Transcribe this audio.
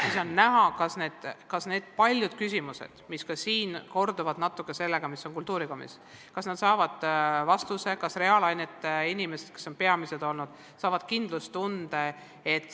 Siis on näha, kas paljud küsimused, mis siin on natuke korranud neid, mis on kõlanud ka kultuurikomisjonis, saavad vastuse, kas reaalainete õpetajad, kes on peamised muretsejad olnud, saavad kindlustunde.